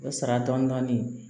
O sara dɔɔnin dɔɔnin